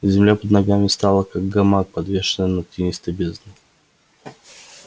земля под ногами стала как гамак подвешенный над тинистой бездной